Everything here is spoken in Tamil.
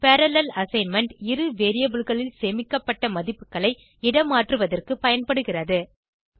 பரல்லேல் அசைன்மென்ட் இரு variableகளில் சேமிக்கப்பட்ட மதிப்புகளை இடமாற்றுவதற்கும் பயன்படுகிறது